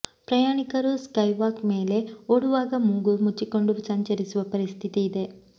ಪ್ರಯಾಣಿಕರು ಸ್ಕೈವಾಕ್ ಮೇಲೆ ಓಡಾಡುವಾಗ ಮೂಗು ಮುಚ್ಚಿಕೊಂಡು ಸಂಚರಿಸುವ ಪರಿಸ್ಥಿತಿ ಇದೆ